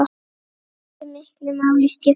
Hversu miklu máli skiptir það?